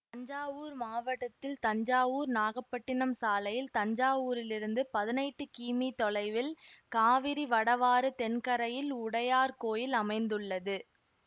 தஞ்சாவூர் மாவட்டத்தில் தஞ்சாவூர் நாகப்பட்டினம் சாலையில் தஞ்சாவூரிலிருந்து பதினெட்டு கிமீ தொலைவில் காவிரி வடவாறு தென்கரையில் உடையார்கோயில் அமைந்துள்ளது